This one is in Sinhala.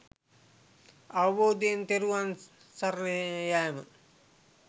අවබෝධයෙන් තෙරුවන් සරණ යෑම.